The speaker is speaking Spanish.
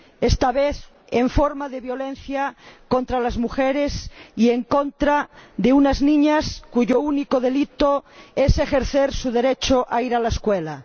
Esta vez en forma de violencia contra las mujeres y en contra de unas niñas cuyo único delito es ejercer su derecho a ir a la escuela.